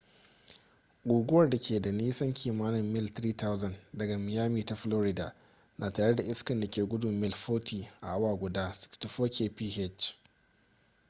guguwar da ke da nisan kimanin mil 3,000 daga miami ta florida na tare da iska da ke gudun mil 40 a awa guda 64 kph